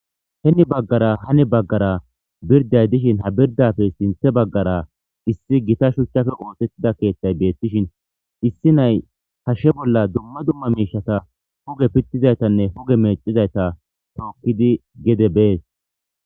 Heni baggara hani baggara bordday dishin ha birddappe sinththe baggara issi gita shuuchchappe oosettida keeththay bettishin issi nay hashshe bolla dumma dumma huge pitizayttanne huge mecizaytta tookidi gedde bees